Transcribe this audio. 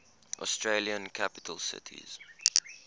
australian capital cities